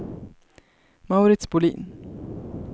Mauritz Bolin